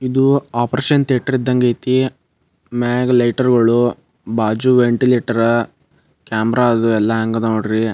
ಇದು operation theatre ಇದ್ದಂಗ್ ಐತಿ. ಮ್ಯಾಗಿ ಲೈಟರ್ ಗೋಳು. ಬಾಜು ವೆಂಟಿಲೇಟರ ಕ್ಯಾಮೆರಾ ಅದು ಎಲ್ಲ ಹ್ಯಾಂಗ್ ಅದಾವ್ ನೋಡ್ರಿ.